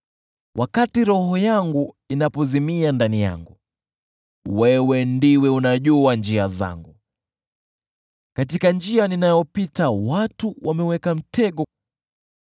Wakati roho yangu inapozimia ndani yangu, wewe ndiwe unajua njia zangu. Katika njia ninayopita watu wameniwekea mtego.